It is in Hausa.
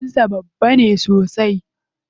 Ofishina babba ne sosai.